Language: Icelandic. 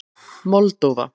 Moldóva